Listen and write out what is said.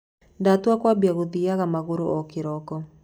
Ndatua kwambia gũthiaga magũrũ o kĩroko.